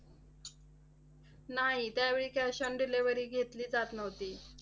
नाही, त्यावेळी cash on delivery घेतली जात नव्हती.